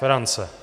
Ferance.